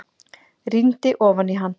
Rýndi ofan í hann.